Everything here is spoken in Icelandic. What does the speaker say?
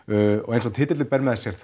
eins og titillinn ber með sér